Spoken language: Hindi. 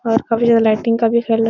और काफी ज्यादा लाइटिंग का भी --